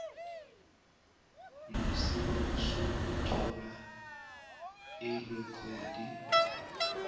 nesibawo sokuthola irekhodi